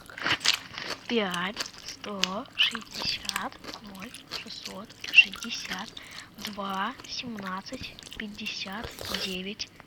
пять сто шестьдесят ноль шестьсот шестьдесят два семнадцать пятьдесят девять